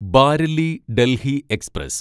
Bareilly Delhi express